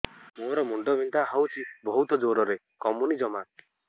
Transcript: ମୋର ମୁଣ୍ଡ ବିନ୍ଧା ହଉଛି ବହୁତ ଜୋରରେ କମୁନି ଜମା